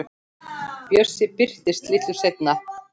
Bjössi birtist litlu seinna.